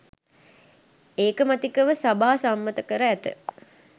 ඒකමතිකව සභා සම්මත කර ඇත